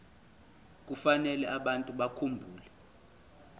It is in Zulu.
kufanele abantu bakhumbule